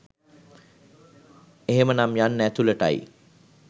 එහෙමනම් යන්න ඇතුළට."යි